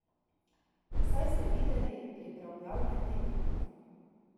Saj ste videli pripravljalne tekme.